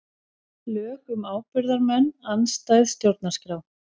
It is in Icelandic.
Lög um ábyrgðarmenn andstæð stjórnarskrá